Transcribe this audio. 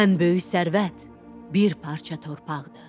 Ən böyük sərvət bir parça torpaqdır.